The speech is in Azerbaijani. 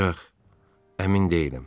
Ancaq əmin deyiləm.